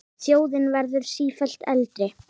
Þjóðin verður sífellt eldri.